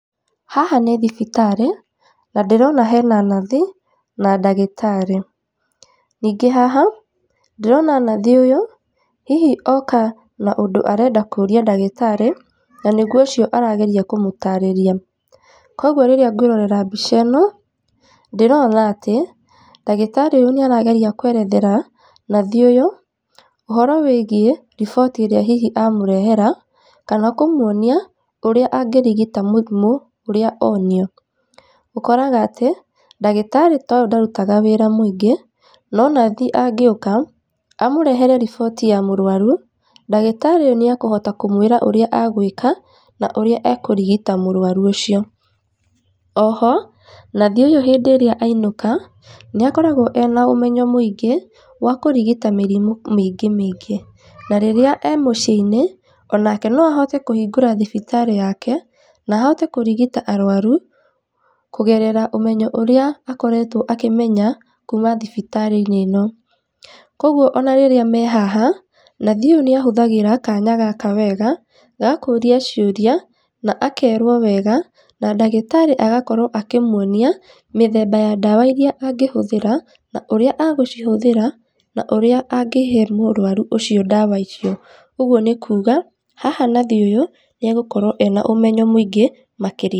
Haha nĩ thibitarĩ, na ndĩrona hena nathi na ndagĩtarĩ. Ningĩ haha, ndĩrona nathi ũyũ, hihi oka na ũndũ arenda kũria ndagĩtarĩ, na nĩguo ũcio arageria kũmũtarĩria. Koguo rĩrĩa ngwĩrorera mbica ĩno, ndĩrona atĩ, ndagĩtarĩ ũyũ nĩ arageria kwerethera nathi ũyũ, ũhoro wĩgiĩ riboti ĩrĩa hihi amũrehera kana kũmuonia ũrĩa angĩrigita mũrimũ ũrĩa onio. Ũkoraga atĩ, ndagĩtarĩ ta ũyũ ndarutaga wĩra mũingĩ, no nathi angĩũka, amũrehere riboti ya mũrwaru, ndagĩtarĩ ũyũ nĩ ekũhota kũmwĩra ũrĩa egwĩka, na ũria ekurigita mũrwaru ũcio. Oho, nathi ũyũ hĩndĩ ĩrĩa ainũka, nĩ akoragwo ena ũmenyo mũingĩ, wa kũrigita mĩrimũ mĩingĩ mĩingi, na rĩrĩa e muciĩ-inĩ, onake no ahote kũhingũra thibitarĩ yake, na ahote kũrigita arwaru, kũgerera ũmenyo ũrĩa akoretwo akĩmenya kuma thibitarĩ-inĩ ĩno. Koguo ona rĩrĩa me haha, nathi ũyũ nĩ ahũthagĩra kanya gaka wega, ga kũria ciũria, na akerwo wega, na ndagĩtarĩ agakorwo akĩmuonia, mĩthemba ya ndawa irĩa angĩhũthĩra na ũria agũcihũthĩra, na ũrĩa angĩhe mũrwaru ũcio ndawa icio. Ũguo nĩ kuga, haha nathi ũyũ, nĩ egũkorwo ena ũmenyo mũingĩ, makĩria.